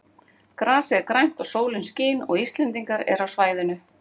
Grasið er grænt og sólin skín og Íslendingar eru á svæðinu.